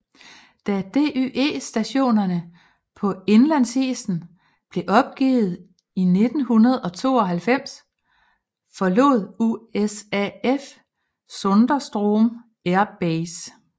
Da DYE stationerne på indlandsisen blev opgivet i 1992 forlod USAF Sondrestrom Air Base